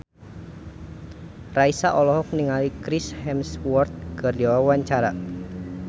Raisa olohok ningali Chris Hemsworth keur diwawancara